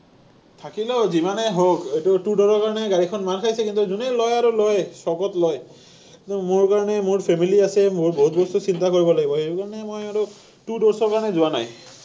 থাকিলেও যিমানে হওক, এইটো two door ৰ কাৰণে গাড়ীখন মাৰ খাইছে, কিন্তু যোনেই লয় আৰু লয়, চখত লয়। কিন্তু মোৰ কাৰণে মোৰ family আছে, মোৰ বহুত বস্তু চিন্তা কৰিব লাগিব। সেইকাৰণে মই আৰু two doors ৰ কাৰণে যোৱা নাই।